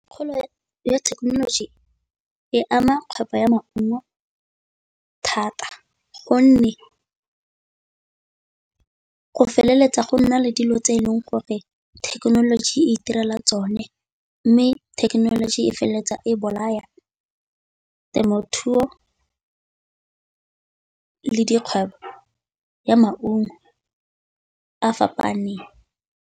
Kgolo ya thekenoloji e ama kgwebo ya maungo thata, gonne go feleletsa go nna le dilo tse e leng gore thekenoloji e itirela tsone, mme thekenoloji e feleletsa e bolaya temothuo le dikgwebo ya maungo a fapaneng.